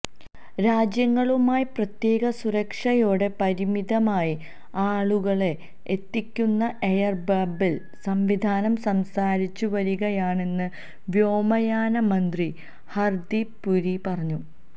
രാജ്യങ്ങളുമായി പ്രത്യേക സുരക്ഷയോടെ പരിമിതമായി ആളുകളെ എത്തിക്കുന്ന എയര്ബബിള് സംവിധാനം സംസാരിച്ചു വരികയാണെന്ന് വ്യോമയാന മന്ത്രി ഹര്ദീപ് പുരി പറഞ്ഞു